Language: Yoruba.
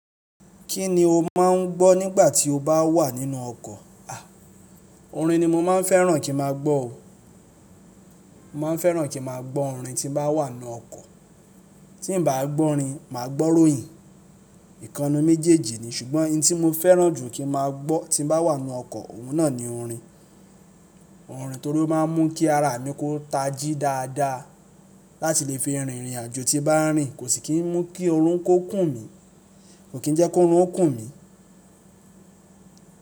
Kí ni o máà ń gbọ́ nígbà tí o bá wà nínú ọkọ̀? À, orin ni mo máa ń fẹ́ràn kín ma gbọ̀ o. Mo maa ń fẹ́ràn kín ma gbọ́ orin tín bá wà n nú ọkọ̀. Tí n bá gbọ́ orin, máa gbọ́ róyìn. Ìkan nínú méjèèjì ni, ṣùgbọ́n ohun tí mo fẹ́ràn jù kí n ma gbọ́ tí n bá wà nínú ọkọ̀, òun náà ni orin. Orin torí ó máa ń mú kí ara mi kó tají dáadáa láti lè fi rìnrìn àjò tí n bá rìn kò sì kí n mú kí oorun kó kùn mí, kò kín jẹ́ kó oorun ó kùn mí.